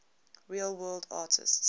real world artists